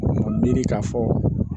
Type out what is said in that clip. Miiri k'a fɔ